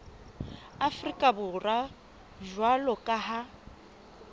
afrika borwa jwalo ka ha